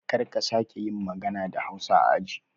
Karka sake yin magana da hausa a aji